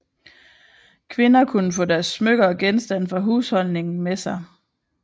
Kvinder kunne få deres smykker og genstande fra husholdningen med sig